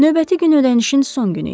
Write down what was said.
Növbəti gün ödənişin son günü idi.